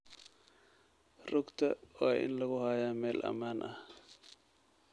Rugta waa in lagu hayaa meel ammaan ah.